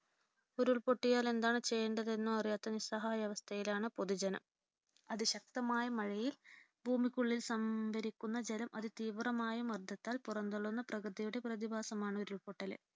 ഉരുൾപൊട്ടിയാൽ എന്താണ് ചെയ്യേണ്ടതെന്നോ അറിയാത്ത നിസ്സഹായ അവസ്ഥയിലാണ് പൊതുജനം. അതി ശക്തമായ മഴയിൽ ഭൂമിക്കുള്ളിൽ സംഭരിക്കുന്ന ജലം അതിതീവ്രമായ മർദ്ദത്താൽ പുറംതള്ളുന്ന പ്രകൃതിയുടെ പ്രതിഭാസമാണ് ഉരുൾപൊട്ടൽ.